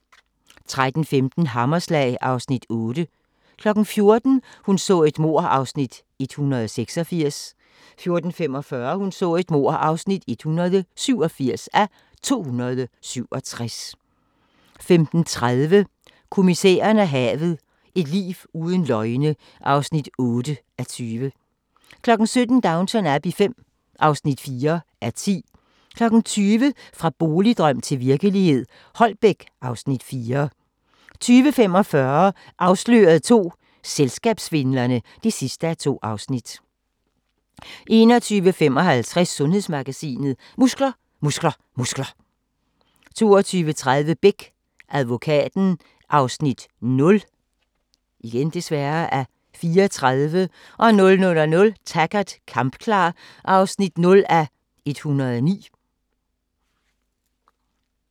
13:15: Hammerslag (Afs. 8) 14:00: Hun så et mord (186:267) 14:45: Hun så et mord (187:267) 15:30: Kommissæren og havet: Et liv uden løgne (8:20) 17:00: Downton Abbey V (4:10) 20:00: Fra boligdrøm til virkelighed – Holbæk (Afs. 4) 20:45: Afsløret II – Selskabssvindlerne (2:2) 21:55: Sundhedsmagasinet: Muskler, muskler, muskler 22:30: Beck - advokaten (0:34) 00:00: Taggart: Kampklar (0:109)